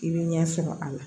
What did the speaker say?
I bɛ ɲɛ sɔrɔ a la